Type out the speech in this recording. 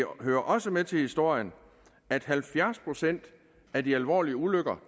hører også med til historien at halvfjerds procent af de alvorlige ulykker